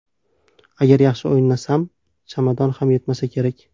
Agar yaxshi o‘ynasam, chamadon ham yetmasa kerak.